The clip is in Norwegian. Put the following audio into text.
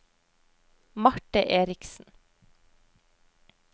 Marte Eriksen